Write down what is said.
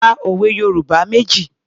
Ka òwe Yorùbá méjì.